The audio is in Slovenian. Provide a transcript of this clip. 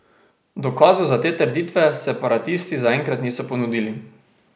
Dokazov za te trditve separatisti zaenkrat niso ponudili.